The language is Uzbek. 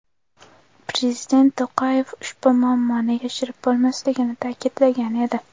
Prezident To‘qayev ushbu muammoni yashirib bo‘lmasligini ta’kidlagan edi .